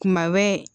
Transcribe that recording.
Kuma bɛ